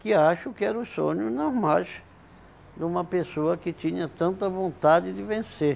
Que acho que era sonhos normais de uma pessoa que tinha tanta vontade de vencer.